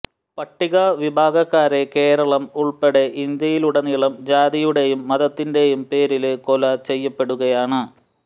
പട്ടിക വിഭാഗക്കാരെ കേരളം ഉള്പ്പെടെ ഇന്ത്യയിലുടനീളം ജാതിയുടേയും മതത്തിന്റെയും പേരില് കൊല ചെയ്യപ്പെടുകയാണ്